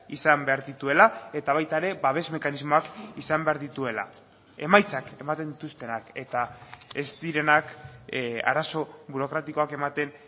izan behar dituela eta baita ere babes mekanismoak izan behar dituela emaitzak ematen dituztenak eta ez direnak arazo burokratikoak ematen